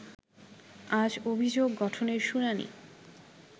আজ অভিযোগ গঠনের শুনানি